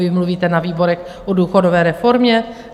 Vy mluvíte na výborech o důchodové reformě?